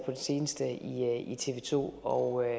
det seneste i tv to og jeg